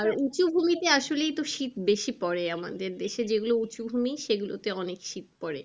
আর উঁচু ভূমিতে আসলেই তো শীত বেশি পরে আমাদের দেশে যে গুলো উঁচু ভূমি সেগুলোতে অনেক শীত পরে।